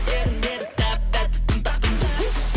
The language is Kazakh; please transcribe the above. еріндері тәп тәтті тым тартымды уф